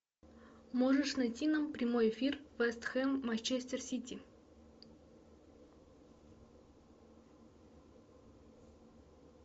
можешь найти нам прямой эфир вест хэм манчестер сити